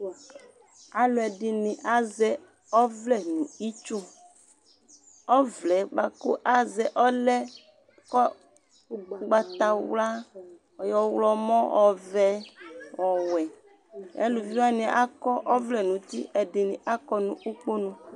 Alʋ ɛdini azɛ ɔvlɛ nʋ itsu Ɔvlɛ bua kʋ ɔlɛ ʋgbatawla , ɔɣlɔwʋ, ɔvɛ, ɔwɛ Alʋviwani akɔ ɔvlɛ n'uti, ɛdini akɔ nʋ ukponu